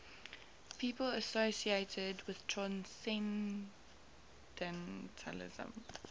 people associated with transcendentalism